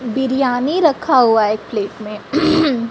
बिरयानी रखा हुआ है एक प्लेट में।